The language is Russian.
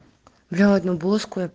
взял одну блузку